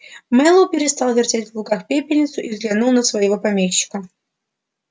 мэллоу перестал вертеть в луках пепельницу и взглянул на своего помощника